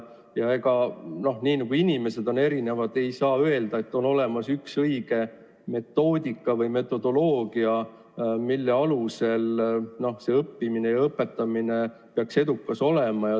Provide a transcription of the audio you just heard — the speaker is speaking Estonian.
Ja nii nagu inimesi on erinevaid, ei saa ka öelda, et on olemas üks õige metoodika või metodoloogia, mille alusel õppimine ja õpetamine peaks edukas olema.